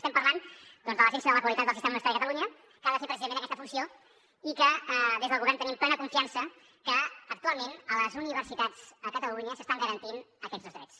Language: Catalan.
estem parlant doncs de l’agència per a la qualitat del sistema universitari de catalunya que ha de fer precisament aquesta funció i que des del govern tenim plena confiança que actualment a les universitats a catalunya s’estan garantint aquests dos drets